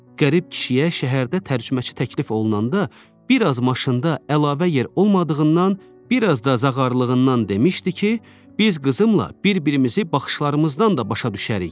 Qərib kişiyə şəhərdə tərcüməçi təklif olunanda, bir az maşında əlavə yer olmadığından, bir az da zağarlığından demişdi ki, biz qızımla bir-birimizi baxışlarımızdan da başa düşərik.